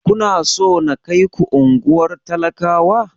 Kuna so na kaiku unguwar talakawa?